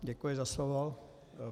Děkuji za slovo.